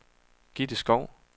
Gitte Skov